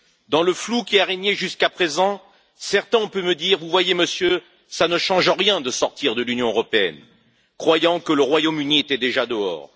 Dans le flou qui a régné jusqu'à présent, certains ont pu me dire Vous voyez, Monsieur, cela ne change rien de sortir de l'Union européenne, croyant que le Royaume Uni était déjà dehors.